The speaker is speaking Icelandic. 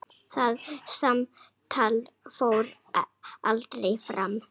Það samtal fór aldrei fram.